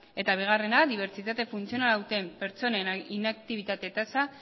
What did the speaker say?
eta bigarrena dibertsitate funtzionala duten pertsonen inaktibitate tasa